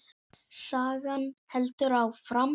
Sagan heldur áfram.